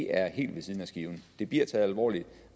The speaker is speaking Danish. er helt ved siden af skiven det bliver taget alvorligt